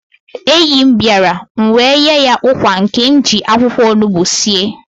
Enyi m bịara, m wee nye ya ụkwa nke m ji akwụkwọ onugbu sie